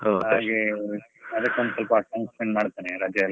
ಅದಕೊಂದ್ ಸ್ವಲ್ಪ ಮಾಡ್ತೇನೆ ರಜೆ ಎಲ್ಲಾ ಇದ್ರೆ.